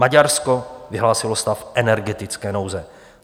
Maďarsko vyhlásilo stav energetické nouze.